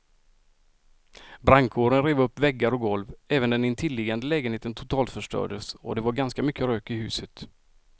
Brandkåren rev upp väggar och golv, även den intilliggande lägenheten totalförstördes och det var ganska mycket rök i huset.